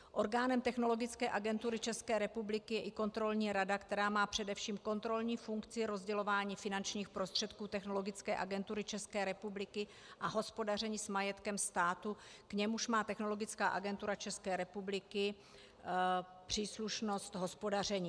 Orgánem Technologické agentury České republiky je i Kontrolní rada, která má především kontrolní funkci rozdělování finančních prostředků Technologické agentury České republiky a hospodaření s majetkem státu, k němuž má Technologická agentura České republiky příslušnost hospodaření.